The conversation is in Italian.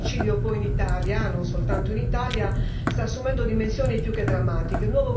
Il femminicidio poi in Italia, e non soltanto in Italia, sta assumendo dimensioni più che drammatiche.